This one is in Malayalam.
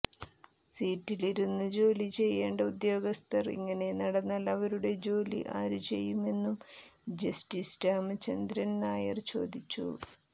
സീറ്റിലിരുന്ന് ജോലിചെയ്യേണ്ട ഉദ്യോഗസ്ഥർ ഇങ്ങനെ നടന്നാൽ അവരുടെ ജോലി ആരു ചെയ്യുമെന്നും ജസ്റ്റിസ് രാമചന്ദ്രൻ നായർ ചോദിച്ചു